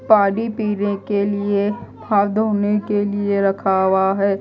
पानी पीने के लिए हाथ धोने के लिए रखा हुआ है।